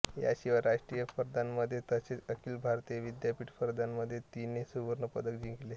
याशिवाय राष्ट्रीय स्पर्धांमध्ये तसेच अखिल भारतीय विद्यापीठ स्पर्धांमध्ये तिने सुवर्ण पदके जिंकली